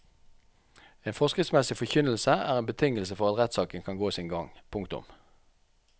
En forskriftsmessig forkynnelse er en betingelse for at rettssaken kan gå sin gang. punktum